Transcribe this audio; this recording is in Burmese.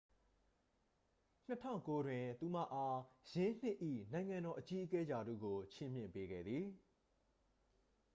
2009 တွင် သူမအား ယင်းနှစ်၏ နိုင်ငံတော် အကြီးအကဲ ရာထူးကို ချီးမြှင့်ပေးခဲ့သည်